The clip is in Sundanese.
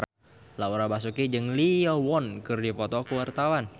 Laura Basuki jeung Lee Yo Won keur dipoto ku wartawan